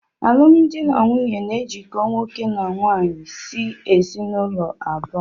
Alụmdi na nwunye na ejikọ nwoke na nwaanyị si ezinụlọ abụọ.